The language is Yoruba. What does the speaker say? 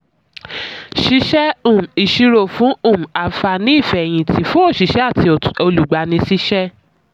ṣíṣẹ́ um ìṣirò fún um àǹfààní ìfẹ̀yìntì fún òṣìṣẹ́ àti olùgbani síṣẹ́.